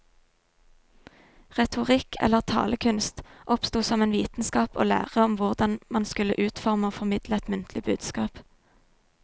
Retorikk, eller talekunst, oppsto som en vitenskap og lære om hvordan man skulle utforme og formidle et muntlig budskap.